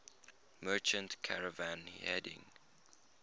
merchant caravan heading